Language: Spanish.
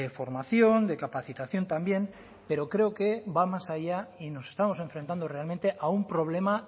formación de capacitación también pero creo que va más allá y nos estamos enfrentando realmente a un problema